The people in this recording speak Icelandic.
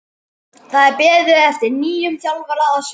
Það er beðið eftir nýjum þjálfara að sunnan.